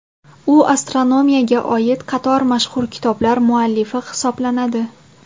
U astronomiyaga oid qator mashhur kitoblar muallifi hisoblanadi.